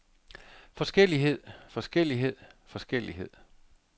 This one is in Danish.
forskellighed forskellighed forskellighed